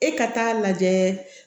E ka taa lajɛ